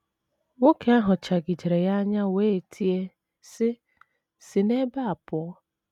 Nwoke ahụ chagidere ya anya wee tie, sị: “ Si n’ebe a pụọ.